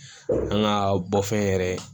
An ka bɔ fɛn yɛrɛ